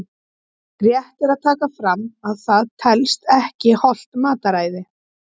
Rétt er að taka fram að það telst ekki hollt mataræði!